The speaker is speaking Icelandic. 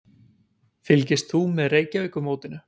Fylgist þú með Reykjavíkurmótinu?